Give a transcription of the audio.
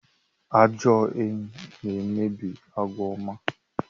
Ajọ enyi na-emebi àgwà ọma